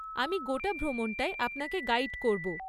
আমি গোটা ভ্রমণটায় আপনাকে গাইড করব।